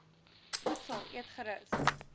voedsel eet gerus